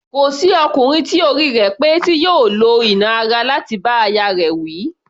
Kò sí ọkùnrin tí orí rẹ̀ pé tí yóò lo ìnà ti ara láti bá aya rẹ̀ wí.